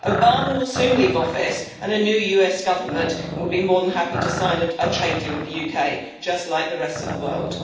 Obama will soon leave office and a new US government will be more than happy to sign a trade deal with the UK, just like the rest of the world.